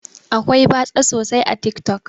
Akwai batsa sosai a tik tok.